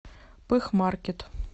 пыхмаркет